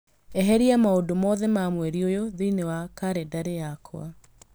Eheria maũndũ mothe ma mweri ũyũ thĩinĩ wa kalendarĩ yakwa